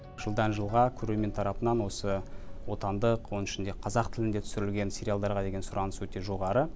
жылдан жылға көрермен тарапынан осы отандық оның ішінде қазақ тілінде түсірілген сериалдарға деген сұраныс өте жоғары